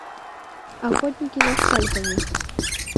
охотники за скальпами